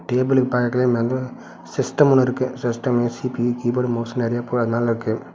டேபிளுக்கு பக்கத்துல மேல சிஸ்டம் ஒன்னு இருக்கு சிஸ்டமு சீ_பி_யூ கீபோர்டு மவுஸ் நறையா பொருள் அது மேல இருக்கு.